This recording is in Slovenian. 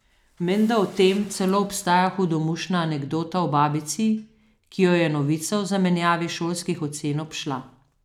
Menda o tem celo obstaja hudomušna anekdota o babici, ki jo je novica o zamenjavi šolskih ocen obšla.